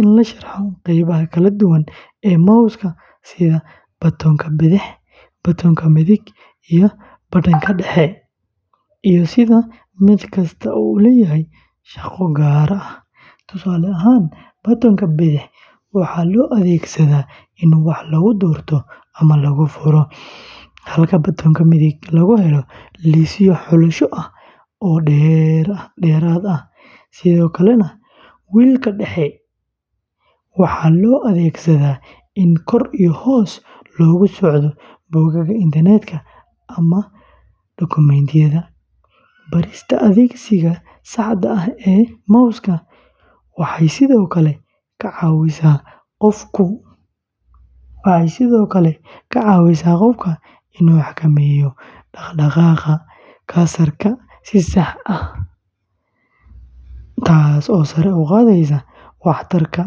in la sharxo qeybaha kala duwan ee mouska sida batoonka bidix, batoonka midig, iyo badhanka dhexe, iyo sida mid kasta u leeyahay shaqo gaar ah. Tusaale ahaan, batoonka bidix waxaa loo adeegsadaa in wax lagu doorto ama lagu furo, halka batoonka midig lagu helo liisyo xulasho ah oo dheeraad ah. Sidoo kale, wheel-ka dhexe waxaa loo adeegsadaa in kor iyo hoos loogu socdo bogagga internetka ama dukumiintiyada. Barista adeegsiga saxda ah ee mouska waxay sidoo kale ka caawisaa qofka inuu xakameeyo dhaqdhaqaaqa cursor-ka si sax ah, taasoo sare u qaadaysa waxtarka.